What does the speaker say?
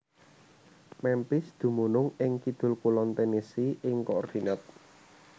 Memphis dumunung ing kidul kulon Tennessee ing koordinat